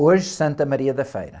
Hoje, Santa Maria da Feira.